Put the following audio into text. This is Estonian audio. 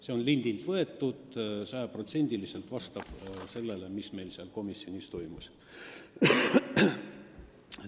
See on lindilt võetud ja sajaprotsendiliselt vastab sellele, mis meil komisjonis toimus.